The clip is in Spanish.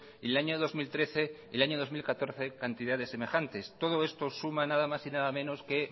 en el año dos mil trece y el año dos mil catorce cantidades semejantes todo esto suma nada más y nada menos que